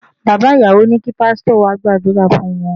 Bàbá ìyàwó ní kí Pásítọ̀ wá gbàdúrà fún wọn.